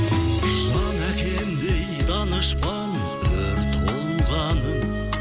жан әкемдей данышпан өр тұлғаның